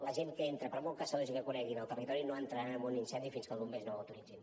la gent que entra per molt caçadors i que coneguin el territori no entraran en un incendi fins que els bombers no ho autoritzin